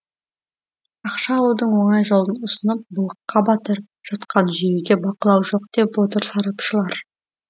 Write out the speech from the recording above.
ақша алудың оңай жолын ұсынып былыққа батырып жатқан жүйеге бақылау жоқ деп отыр сарапшылар